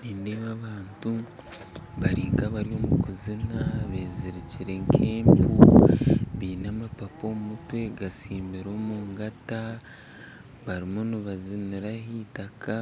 Nindeeba abantu bari nkabari omukuzina bezirikire nkempu baine amapapa omumutwe gatsimbire omungata bariyo nibazinira aheitaka